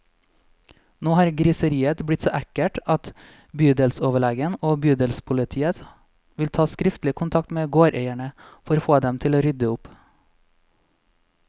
Nå har griseriet blitt så ekkelt at bydelsoverlegen og bydelspolitiet vil ta skriftlig kontakt med gårdeierne, for å få dem til å rydde opp.